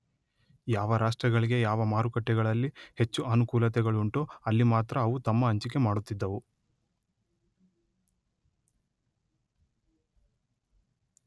ಯಾವ ರಾಷ್ಟ್ರಗಳಿಗೆ ಯಾವ ಮಾರುಕಟ್ಟೆಗಳಲ್ಲಿ ಹೆಚ್ಚು ಅನುಕೂಲತೆಗಳುಂಟೋ ಅಲ್ಲಿ ಮಾತ್ರ ಅವು ತಮ್ಮ ಹಂಚಿಕೆ ಮಾಡುತ್ತಿದ್ದವು.